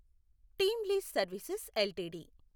team lease services LTD